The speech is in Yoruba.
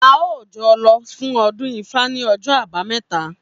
A óò jo̩ lo̩ fún o̩dún Ifá ní o̩jó̩ Àbámé̩ta!